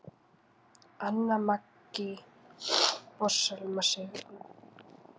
Anna Maggý og Selma Sigrún.